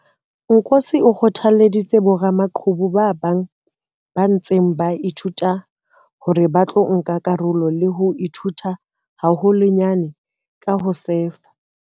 Nkosi o kgothalleditse boramaqhubu ba bang ba ntseng ba ithuta hore ba tlo nka karolo le ho ithuta haholwanyane ka ho sefa.